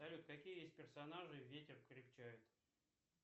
салют какие есть персонажи ветер крепчает